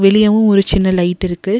வெளியவு ஒரு சின்ன லைட் இருக்கு.